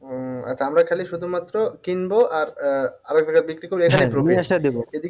উম আচ্ছা আমরা খালি শুধুমাত্র কিনবো আর আহ আবার সেটা বিক্রি করে